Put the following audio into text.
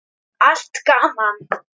Allt gaman.